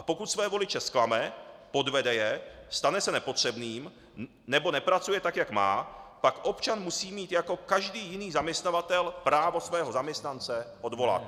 A pokud svoje voliče zklame, podvede je, stane se nepotřebným nebo nepracuje tak, jak má, pak občan musí mít jako každý jiný zaměstnavatel právo svého zaměstnance odvolat.